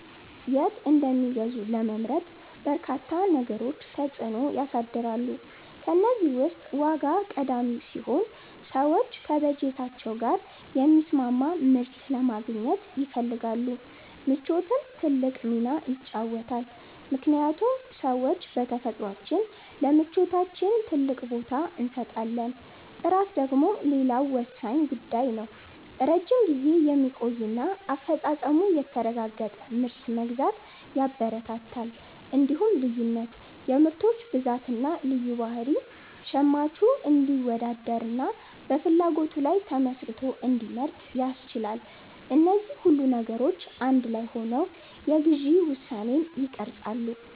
የት እንደሚገዙ ለመምረጥ በርካታ ነገሮች ተጽዕኖ ያሳድራሉ። ከእነዚህ ውስጥ ዋጋ ቀዳሚው ሲሆን፣ ሰዎች ከበጀታቸው ጋር የሚስማማ ምርት ለማግኘት ይፈልጋሉ። ምቾትም ትልቅ ሚና ይጫወታልምክንያቱም ሰዎች በተፈጥሯችን ለምቾታችን ትልቅ ቦታ እንሰጣለን። ጥራት ደግሞ ሌላው ወሳኝ ጉዳይ ነው፤ ረጅም ጊዜ የሚቆይና አፈጻጸሙ የተረጋገጠ ምርት መግዛት ያበረታታል። እንዲሁም ልዩነት (የምርቶች ብዛትና ልዩ ባህሪ) ሸማቹ እንዲወዳደርና በፍላጎቱ ላይ ተመስርቶ እንዲመርጥ ያስችላል። እነዚህ ሁሉ ነገሮች አንድ ላይ ሆነው የግዢ ውሳኔን ይቀርጻሉ።